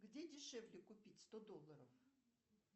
где дешевле купить сто долларов